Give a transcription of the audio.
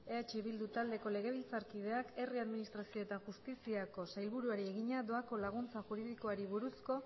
eh bildu taldeko legebiltzarkideak herri administrazio eta justiziako sailburuari egina doako laguntza juridikoari buruzko